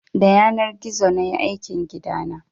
Da yanar gizo nayi aikin gidana